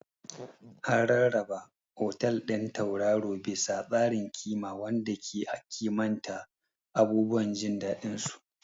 An rarraba otal ɗin tauraro bisa tsarin ƙima wanda ke kimanta abubuwan jin daɗinsu.